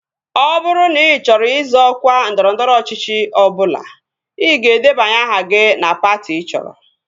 Ọ bụrụ na ị chọrọ izọ ọkwa ndọrọndọrọ ọchịchị ọbụla, ị ga-edebanye aha gị na patị ị chọrọ